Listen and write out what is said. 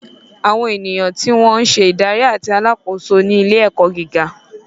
Àwọn ènìyàn tí wọn ń se ìdarí àti àkóso ilé-ẹ̀kọ́ gíga.